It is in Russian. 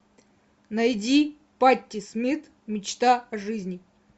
найди патти смит мечта о жизни